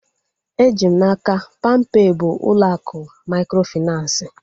Eji m n'aka, palmpay bụ ụlọ akụ mikrofinansi